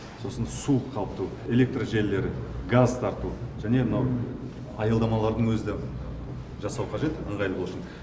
сосын су қамту электр жиелері газ тарту және мынау аялдамалардың өзі де жасау қажет ыңғайлы болсын